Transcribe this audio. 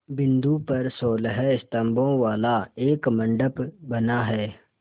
बिंदु पर सोलह स्तंभों वाला एक मंडप बना है